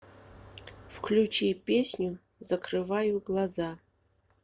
включи песню закрываю глаза